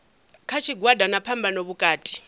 kha tshigwada na phambano vhukati